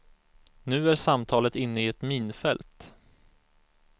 Nu är samtalet inne i ett minfält.